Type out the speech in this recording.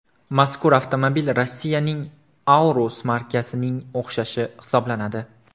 Mazkur avtomobil Rossiyaning Aurus markasining o‘xshashi hisoblanadi.